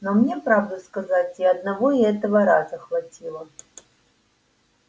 но мне правду сказать и одного этого раза хватило